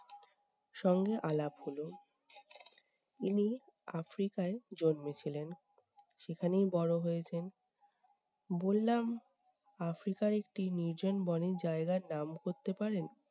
সঙ্গে আলাপ হলো। ইনি আফ্রিকায় জন্মেছিলেন। সেখানেই বড়ো হয়েছেন। বললাম আফ্রিকার একটি নির্জন বনের জায়গার নাম করতে পারেন?